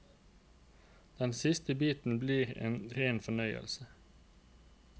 Den siste biten blir en ren fornøyelse.